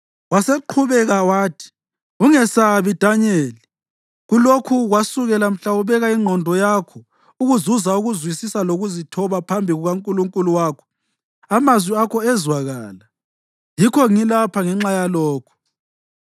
Waseqhubeka wathi, “Ungesabi, Danyeli. Kulokhu kwasukela mhla ubeka ingqondo yakho ukuzuza ukuzwisisa lokuzithoba phambi kukaNkulunkulu wakho, amazwi akho ezwakala, yikho ngilapha ngenxa yalokho.